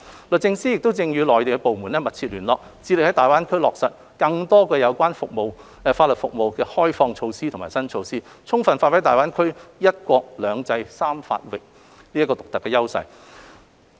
律政司亦正與內地相關部門密切聯絡，致力在大灣區落實更多有關法律服務的開放措施和新措施，充分發揮大灣區"一國、兩制、三法域"的獨特優勢。